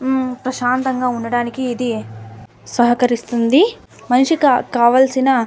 ప్రశాంతంగా ఉండడానికి ఇది సహకరిస్తుంది మనిషికి కావాల్సిన --